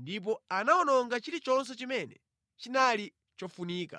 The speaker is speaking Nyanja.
ndipo anawononga chilichonse chimene chinali chofunika.